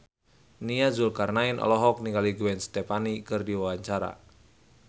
Nia Zulkarnaen olohok ningali Gwen Stefani keur diwawancara